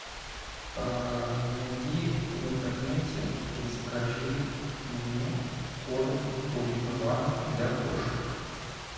найди в интернете и закажи мне корм пурина ван для кошек